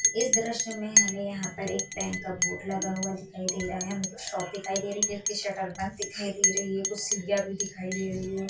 इस दृश्य मे हमे यहाँ पर एक बैंक का बोर्ड लगा हुआ दिखाई दे रहा है कुछ शॉप दिखाई दे रही है जिसकी शटर बंद दिखाई दे रही है कुछ सीढ़ियां भी दिखाई दे रही है।